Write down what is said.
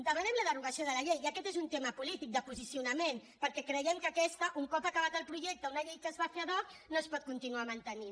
demanem la derogació de la llei i aquest és un tema polític de posicionament perquè creiem que aquesta un cop acabat el projecte una llei que es va fer adtinuar mantenint